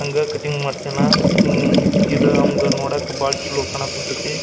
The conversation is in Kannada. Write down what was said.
ಹಂಗ ಕಟಿಂಗ್ ಮಾಡ್ಸಯಾನ ಹಮ್ಮ್ ಇದು ಅವಾಂಗ್ ನೋಡಕ್ ಬಹಳ ಚಲೋ ಕನ ಕುಂತೈತಿ.